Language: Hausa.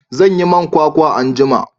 zan yi man kwakwa anjima